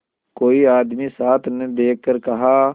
कोई आदमी साथ न देखकर कहा